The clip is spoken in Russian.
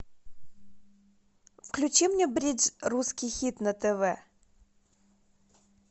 включи мне бридж русский хит на тв